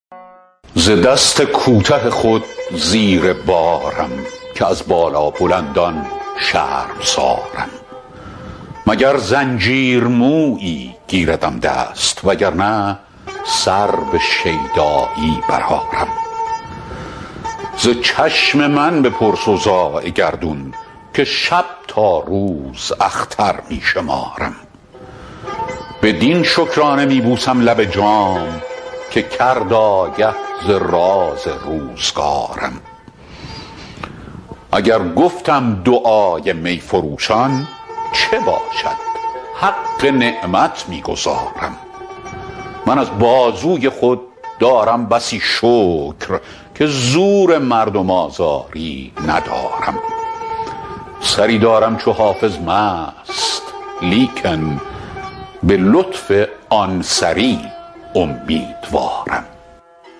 ز دست کوته خود زیر بارم که از بالابلندان شرمسارم مگر زنجیر مویی گیردم دست وگر نه سر به شیدایی برآرم ز چشم من بپرس اوضاع گردون که شب تا روز اختر می شمارم بدین شکرانه می بوسم لب جام که کرد آگه ز راز روزگارم اگر گفتم دعای می فروشان چه باشد حق نعمت می گزارم من از بازوی خود دارم بسی شکر که زور مردم آزاری ندارم سری دارم چو حافظ مست لیکن به لطف آن سری امیدوارم